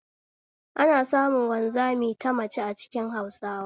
Ana samun wanzami ta mace a cikin Hausawa